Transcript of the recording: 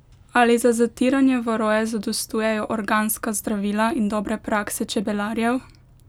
Ali za zatiranje varoje zadostujejo organska zdravila in dobre prakse čebelarjev?